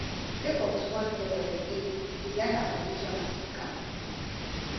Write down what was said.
sake of too much pressure etteh resign her position as speaker